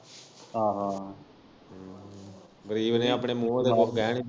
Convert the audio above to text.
ਆਹੋ ਆਹੋ।